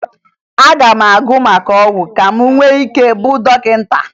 Aga m agụ maka ọgwụ ka m nwee ike ịbụ dọkịta